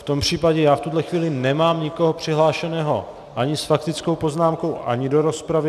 V tom případě já v tuto chvíli nemám nikoho přihlášeného ani s faktickou poznámkou, ani do rozpravy.